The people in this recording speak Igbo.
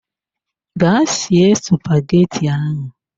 Ga sie spaghetti ahụ!